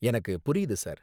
எனக்கு புரியுது, சார்.